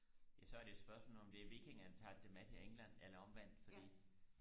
ja så er det jo spørgsmålet om det er vikingerne der har taget det med til England eller omvendt fordi